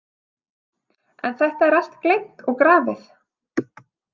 En þetta er allt gleymt og grafið.